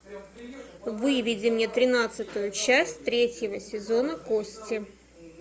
выведи мне тринадцатую часть третьего сезона кости